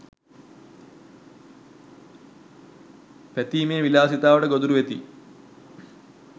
පැතීමේ විලාසිතාවට ගොදුරු වෙති